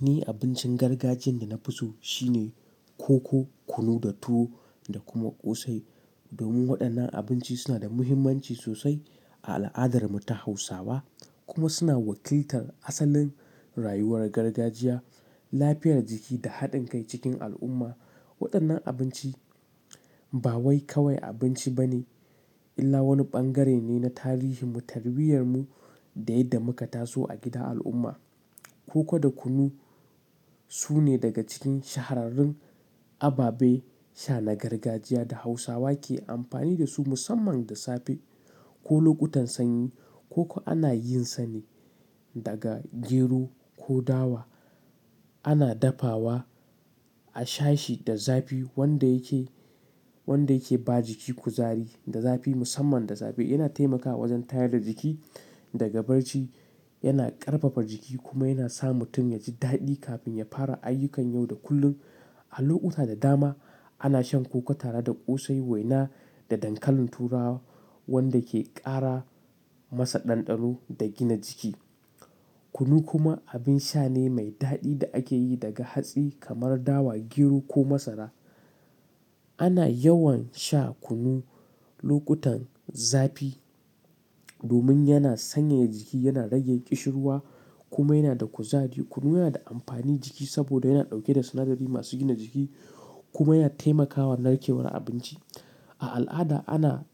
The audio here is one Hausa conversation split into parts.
Ni abincin gargajiyan da na fi so shine koko, kunu da tuwo da kuma ƙosai. Domin waɗannan abinci suna da muhimmanci sosai a al'adar mu ta Hausawa kuma suna wakiltar asalin rayuwar gargajiya, lafiyar jiki da haɗin kai cikin al'umma. Waɗannan abinci ba wai kawai abinci ba ne illa wani bangare ne na tarihin mu, tarbiyyar mu da yadda muka taso a gida al'umma. Koko da kunu su ne daga cikin shahararrun ababe sha na gargajiya da Hausawa ke amfani da su musamman da safe ko lokutan sanyi. Koko ana yin sa ne daga gero ko dawa. Ana dafawa a shashi da zafi wanda yake, wanda yake ba jiki kuzari da zafi musamman da zafi. Yana taimakawa wajen tayar da jiki daga barci, yana ƙarfafar jiki kuma yana sa mutum yaji daɗi kafin ya fara ayyukan yau da kullum. A lokuta da dama ana shan koko tare da ƙosai, waina da dankalin turawa wanda ke ƙara masa ɗanɗano da gina jiki. Kunu kuma abin sha ne mai daɗi da ake yi daga hatsi kamar dawa, gero ko masara. Ana yawan sha kunu lokutan zafi domin yana sanyaya jiki, yana rage ƙishirwa kuma yana da kuzari. Kunu yana da amfani jiki saboda yana ɗauke da sinadari masu gina jiki kuma yana taimakawa narkewar abinci. A al'ada ana,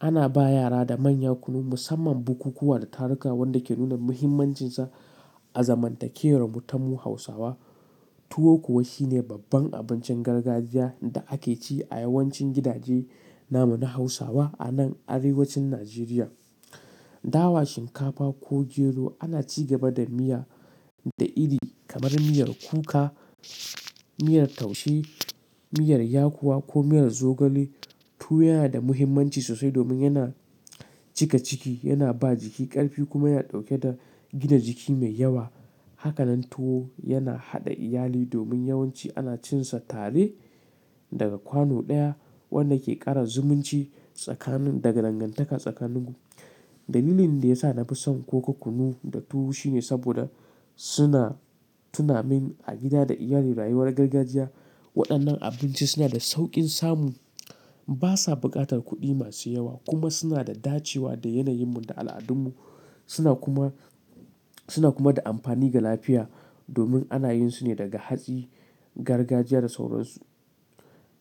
ana ba yara da manya kunu musamman bukukuwa da taruka wanda ke nuna muhimmancinsa a zamantakewar mu tamu Hausawa. Tuwo kuwa shine babban abincin gargajiya da ake ci a yawancin gidaje namu na Hausawa a nan Arewacin Nijeriya. Dawa, shinkafa ko gero ana ci gaba da miya da iri kamar miyar kuka, miyar taushe, miyar yakuwa ko miyar zogale. Tuwo yana da muhimmanci sosai domin yana cika ciki, yana ba jiki ƙarfi kuma yana ɗauke da gina jiki mai yawa. Haka nan tuwo yana haɗa iyali domin yawanci ana cin sa tare daga kwano ɗaya wanda ke ƙara zumunci tsakanin daga dangantaka tsakanin mu. Dalilin da yasa nafi son koko, kunu da tuwo shine saboda suna tunamin a gida da iyali rayuwar gargajiya. Waɗannan abinci suna da sauƙin samu, basa buƙatar kuɗi masu yawa kuma suna da dacewa da yanayin mu da al'adun mu. Suna kuma, suna kuma da amfani ga lafiya domin ana yin su ne daga hatsi, gargajiya da sauransu.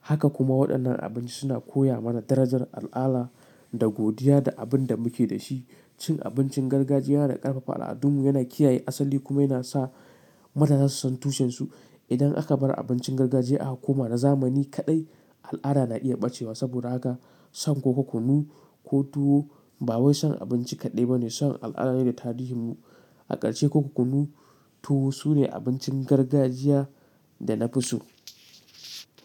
Haka kuma waɗannan abinci suna koya mana darajar al'ala da godiya da abin da muke da shi. Cin abincin gargajiya yana ƙarfafa al'adun mu, yana kiyaye asali kuma yana sa mutane su san tushen su. Idan aka bar abincin gargajiya aka koma na zamani kaɗai, al'ada na iya ɓacewa saboda haka son koko, kunu ko tuwo ba wai son abinci kaɗai ba ne son al'ada ne da tarihin mu. A ƙarshe koko, kunu, tuwo su ne abincin gargajiya da na fi so.